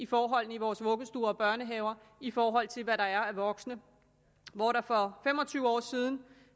forholdene i vores vuggestuer og børnehaver i forhold til hvad der er af voksne hvor der for fem og tyve år siden